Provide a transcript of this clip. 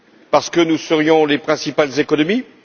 Parce que nous serions les principales économies?